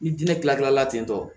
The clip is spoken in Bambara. Ni diinɛ kilala tentɔ